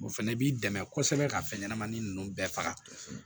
O fɛnɛ b'i dɛmɛ kosɛbɛ ka fɛn ɲɛnɛmani ninnu bɛɛ faga